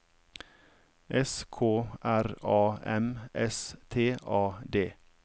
S K R A M S T A D